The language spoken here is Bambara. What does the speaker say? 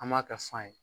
An b'a kɛ fan ye